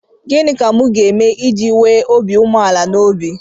Gịnị ka m ga-eme iji nwee obi umeala n'obi?